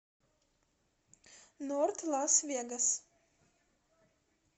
норт лас вегас